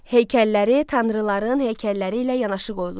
Heykəlləri tanrıların heykəlləri ilə yanaşı qoyulurdu.